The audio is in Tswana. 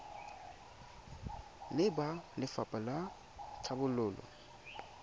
le ba lefapha la tlhabololo